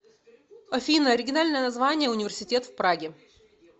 афина оригинальное название университет в праге